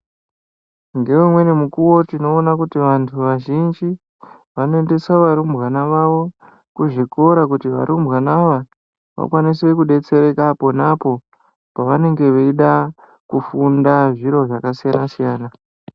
Dzimweni nguva tinoona kuti vandu vazhinji vanongoisa varumbwana wavo kuzvikoro kuti varumbwana vakwanise kubetsereka apo neapo pavange veida kufunda zviro zvakasiyana-siyana .